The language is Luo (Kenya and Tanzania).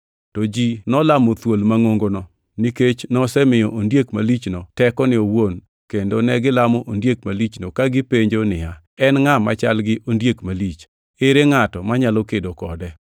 To ji nolamo thuol mangʼongono nikech nosemiyo ondiek malichno tekone owuon kendo negilamo ondiek malichno ka gipenjo niya. “En ngʼa machal gi ondiek malich?” Ere ngʼato manyalo kedo kode?